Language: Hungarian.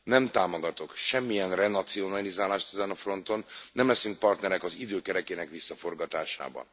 Nem támogatok semmilyen renacionalizálást ezen a fronton, nem leszünk partnerek az idő kerekének visszaforgatásában.